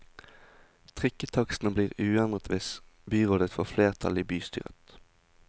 Trikketakstene blir uendret hvis byrådet får flertall i bystyret.